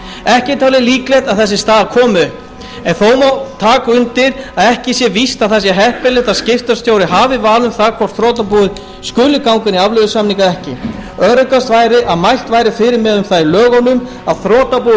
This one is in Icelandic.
ekki er talið líklegt að þessi staða komi upp en þó má taka undir að ekki sé víst að það sé heppilegt að skiptastjóri hafi val um það hvort þrotabúið skuli ganga inn í afleiðusamninga eða ekki og öruggast væri að mælt væri fyrir um það í lögunum að þrotabúið